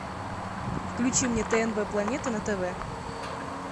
включи мне тнв планета на тв